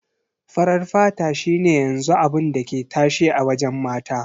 Farar fata shi ne yanzu abun da ke tashe a wajen mata.